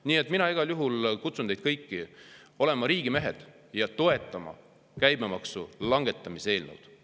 Nii et mina igal juhul kutsun teid kõiki olema riigimehed ja toetama käibemaksu langetamise eelnõu.